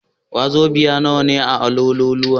Wazobiya nawa ne a Awolowo?